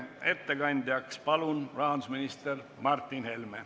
Ettekandjaks palun rahandusminister Martin Helme.